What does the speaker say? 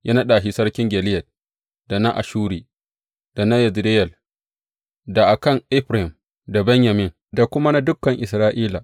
Ya naɗa shi sarkin Gileyad, da na Ashuri, da na Yezireyel, da a kan Efraim, da Benyamin, da kuma na dukan Isra’ila.